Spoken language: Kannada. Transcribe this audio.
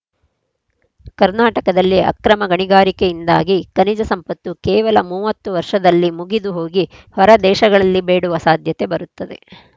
ಕರ್ನಾಟಕದಲ್ಲಿ ಅಕ್ರಮ ಗಣಿಗಾರಿಕೆಯಿಂದಾಗಿ ಖನಿಜ ಸಂಪತ್ತು ಕೇವಲ ಮೂವತ್ತು ವರ್ಷದಲ್ಲಿ ಮುಗಿದು ಹೋಗಿ ಹೊರದೇಶಗಳಲ್ಲಿ ಬೇಡುವ ಸಾಧ್ಯತೆ ಬರುತ್ತದೆ